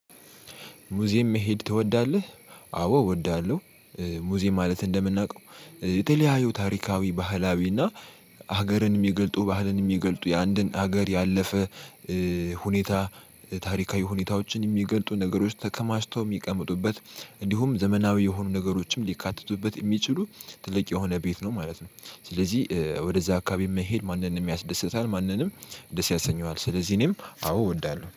ሙዚየም መሄድ ትወዳለህ? አዎ እወዳለሁ። ሙዚየም ማለት እንደምናውቀው የተለያዩ ታሪካዊ ባህላዊ እና ሀገርን የሚገልጡ ባህልን የሚገልጡ የአንድን ሀገር ያለፈ ሁኔታ ታሪካዊ ሁኔታዎችን የሚገልጡ ነገሮች ተከማችተው የሚቀመጡበት እንዲሁም ዘመናዊ የሆኑ ነገሮችም ሊካተቱበት የሚችሉ ትልቅ የሆነ ቤት ነው ማለት ነው። ስለዚህ ወደዛ አካባቢ መሄድ ማንንም ያስደስታል ማንንም ደስ ያሰኘዋል ስለዚህ እኔም አዎ እወዳለሁ